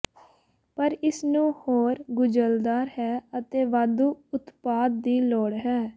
ਪਰ ਇਸ ਨੂੰ ਹੋਰ ਗੁੰਝਲਦਾਰ ਹੈ ਅਤੇ ਵਾਧੂ ਉਤਪਾਦ ਦੀ ਲੋੜ ਹੈ